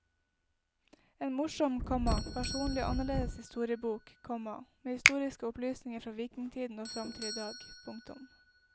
En morsom, komma personlig og annerledes historiebok, komma med historiske opplysninger fra vikingtiden og fram til idag. punktum